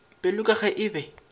pelo ka ge e be